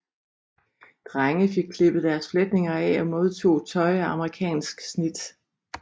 Drenge fik klippet deres fletninger af og modtog tøj af amerikansk snit